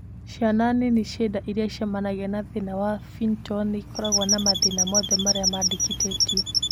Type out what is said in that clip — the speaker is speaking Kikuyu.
Ciana nini ciĩ nda irĩa icemanagia na thina wa phenytoin nĩikoragwo na mathĩna mothe marĩa mandĩkithĩtio